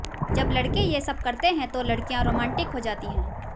जब लड़के ये सब करते हैं तो लड़कियां रोमांटिक हो जाती हैं